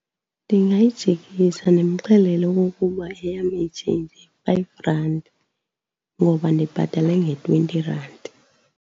Ndingayijikisa ndimxelele okokuba eyam i-change yi-five rand ngoba ndibhatale nge-twenty rand.